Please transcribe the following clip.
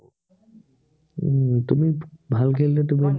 উম তুমি ভাল খেলিলে, তুমি